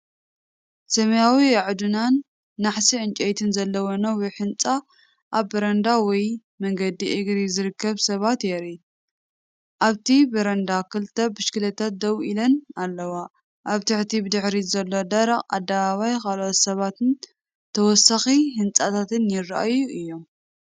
ሰማያዊ ኣዕኑድን ናሕሲ ዕንጨይቲን ዘለዎ ነዊሕ ህንጻ ኣብ በረንዳ ወይ መገዲ እግሪ ዝርከቡ ሰባት የርኢ። ኣብቲ በረንዳ ክልተ ብሽክለታታት ደው ኢለን ኣለዋ። ኣብቲ ብድሕሪት ዘሎ ደረቕ ኣደባባይ ካልኦት ሰባትን ተወሳኺ ህንጻታትን ይረኣዩ ድዮም?